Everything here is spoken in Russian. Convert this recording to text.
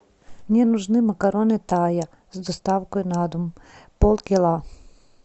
мне нужны макароны тая с доставкой на дом полкило